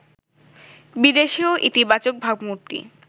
বিদেশেও ইতিবাচক ভাবমূর্তি